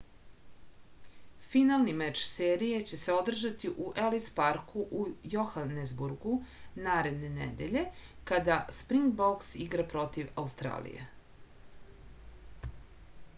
finalni meč serije će se održati u elis parku u johanesburgu naredne nedelje kada springboks igra protiv australije